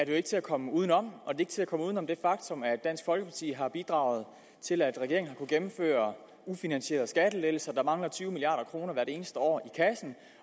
ikke til at komme udenom det ikke til at komme uden om det faktum at dansk folkeparti har bidraget til at regeringen har kunnet gennemføre ufinansierede skattelettelser der mangler tyve milliard kroner i eneste år